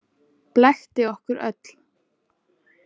Blekkti okkur öll.